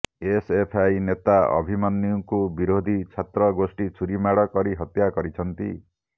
SFI ନେତା ଅଭିମନ୍ୟୁଙ୍କୁ ବିରୋଧୀ ଛାତ୍ର ଗୋଷ୍ଠୀ ଛୁରି ମାଡ଼ କରି ହତ୍ୟା କରିଛନ୍ତି